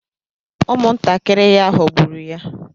Ụmụntakịrị ya ghọgburu ya.